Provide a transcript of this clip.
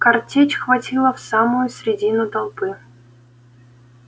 картечь хватила в самую средину толпы